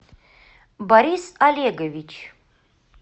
борис олегович